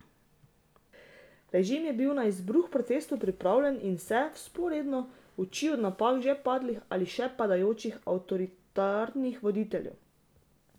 Režim je bil na izbruh protestov pripravljen in se, vzporedno, učil od napak že padlih ali še padajočih avtoritarnih voditeljev.